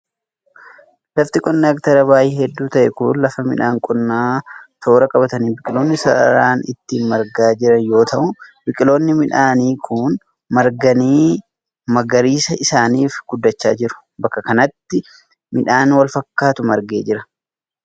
Lafti qonnaa heektaara baay'ee hedduu ta'e kun, lafa midhaan qonnaa tooea qabatanii biqiloonni sararaan itti marganii jiran yoo ta'u, biqiloonni midhaanii kun marganii, magariisa'anii fi guddachaa jiru. Bakka kanatti ,midhaan wal fakkaataatu margee jira.